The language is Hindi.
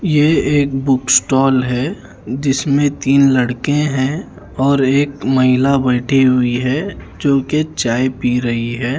ये एक बुक स्टॉल है जिसमें तीन लड़के हैं और एक महिला बैठी हुई है जो कि चाय पी रही है।